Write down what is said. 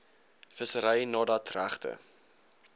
vissery nadat regte